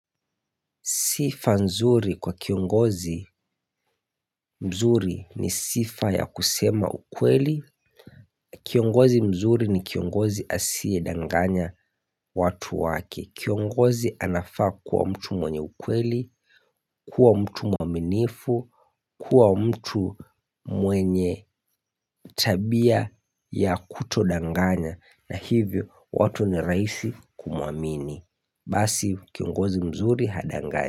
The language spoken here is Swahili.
Sifa nzuri kwa kiongozi mzuri ni sifa ya kusema ukweli. Kiongozi mzuri ni kiongozi asiye danganya watu wake. Kiongozi anafaa kuwa mtu mwenye ukweli, kuwa mtu mwaminifu, kuwa mtu mwenye tabia ya kutodanganya. Na hivyo watu ni rahisi kumuamini. Basi kiongozi mzuri hadanganyi.